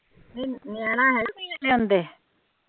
ਨਹੀਂ ਨਿਆਣਾ ਹੇਗਾ ਕੋਈ